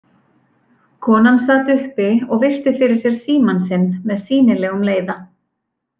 Konan sat uppi og virti fyrir sér símann sinn með sýnilegum leiða.